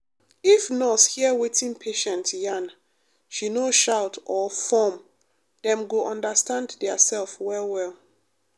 if nurse hear wetin patient yarn she no shout or form dem go understand theirself well well